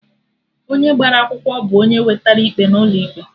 Onye gbara akwụkwọ bụ onye wetera ikpe n'ụlọ ikpe